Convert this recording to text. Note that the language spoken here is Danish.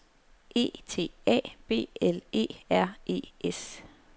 E T A B L E R E S